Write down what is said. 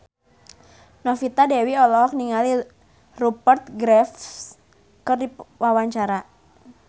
Novita Dewi olohok ningali Rupert Graves keur diwawancara